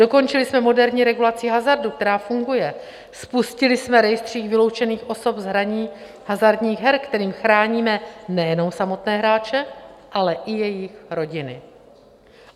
Dokončili jsme moderní regulaci hazardu, která funguje, spustili jsme rejstřík vyloučených osob z hraní hazardních her, kterým chráníme nejenom samotné hráče, ale i jejich rodiny.